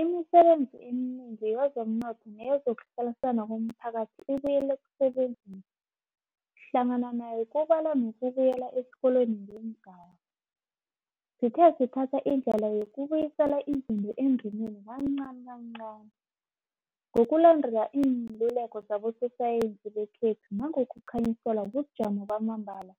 Imisebenzi eminengi yezomnotho neyezokuhlalisana komphakathi ibuyele ekusebenzeni, hlangana nayo kubalwa nokubuyela esikolweni ngeengaba. Sithe sithatha indlela yokubuyisela izinto endimeni kancani kancani, ngokulandela iinluleko zabososayensi bekhethu nangokukhanyiselwa bujamo bamambala